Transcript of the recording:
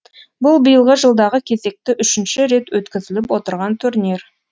бұл биылғы жылдағы кезекті үшінші рет өткізіліп отырған турнир